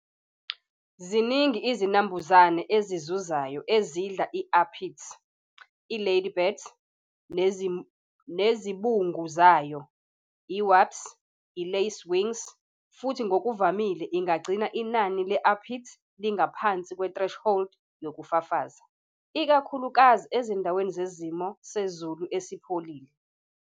Ziningi izinambuzane ezizuzayo ezidla i-aphids, i-ladybirds, nezibungu zayo, i-wasps, i-lacewings, futhi ngokuvamile ingagcina inani le-aphids lingaphansi kwe-threshold yokufafaza, ikakhulukazi ezindaweni zesimo sezulu esipholile.